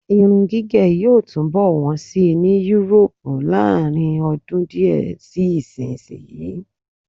Irun gígẹ̀ yóò túnbọ̀ wọ́n síi ní Yúróòpù láàrinọdún díẹ̀ sí ìsìnyí.